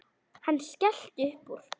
Hann skellti upp úr.